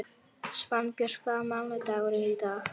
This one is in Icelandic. Svanbjört, hvaða mánaðardagur er í dag?